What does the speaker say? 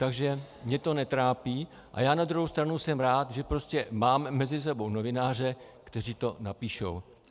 Takže mě to netrápí a já na druhou stranu jsem rád, že prostě máme mezi sebou novináře, kteří to napíšou.